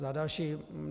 Za další.